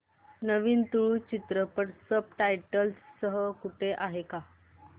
नवीन तुळू चित्रपट subtitles सह कुठे आहे का